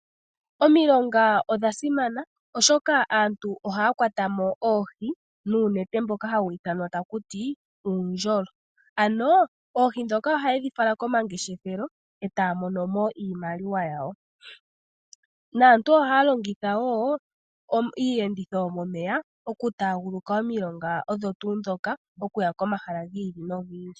Omilonga odha simana oshoka aantu ohaya kwata mo oohi nuunete mboka hawu ithanwa taku ti uundjolo. Ano oohi ndhoka ohayedhi fala komangeshefelo e taya mono mo iimaliwa yawo naantu ohaya longitha woo iiyenditho yomomeya oku taaguluka omilonga odho tuu ndhoka okuya komahala gi ili nogi ili.